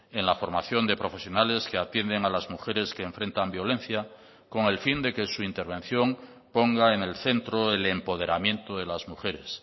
en la formación de profesionales que atienden a las mujeres que enfrentan violencia con el fin de que su intervención ponga en el centro el empoderamiento de las mujeres